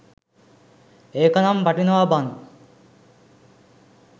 ඒකනම් වටිනවා බන්.